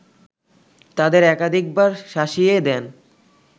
তাদের একাধিকবার শাসিয়ে দেন